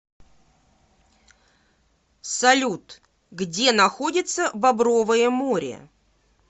салют где находится бобровое море